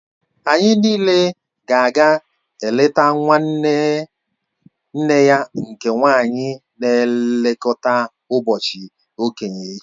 Anyị niile ga-aga eleta nwanne nne ya nke nwaanyị na nlekọta ụbọchị okenye echi